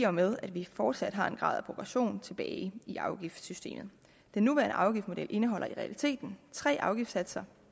og med at vi fortsat har en grad af proportion tilbage i afgiftsystemet den nuværende afgiftsmodel indeholder i realiteten tre afgiftssatser